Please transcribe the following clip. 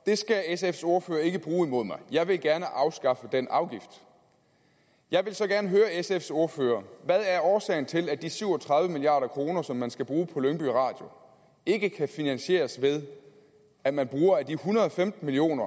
skal sfs ordfører ikke bruge imod mig jeg vil gerne afskaffe den afgift jeg vil så gerne høre sfs ordfører hvad er årsagen til at de syv og tredive million kr som man skal bruge på lyngby radio ikke kan finansieres ved at man bruger af de en hundrede og femten million